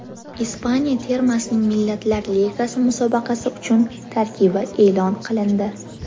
Ispaniya termasining Millatlar Ligasi musobaqasi uchun tarkibi e’lon qilindi.